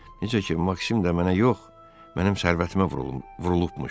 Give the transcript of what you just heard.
Necə ki, Maksim də mənə yox, mənim sərvətimə vurulubmuş.